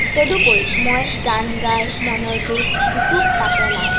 তদুপৰি মই গান গায় মনৰ দুখ কিছু পাতলাও।